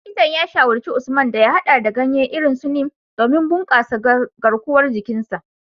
Likitan ya shawarci Usman da ya hada da ganye irin su Neem domin bunkasa garkuwar jikin sa.